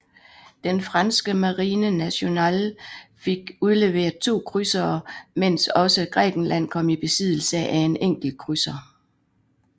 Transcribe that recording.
Den franske Marine Nationale fik udleveret to krydsere mens også Grækenland kom i besiddelse af en enkelt krydser